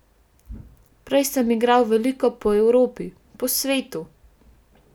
Prej sem igral veliko po Evropi, po svetu.